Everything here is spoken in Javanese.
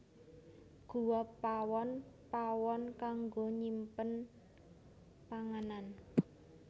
Guwa Pawon pawon kanggo nyimpen panganan